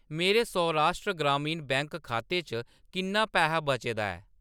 मेरे सौराष्ट्र ग्रामीण बैंक खाते च किन्ना पैहा बचे दा ऐ ?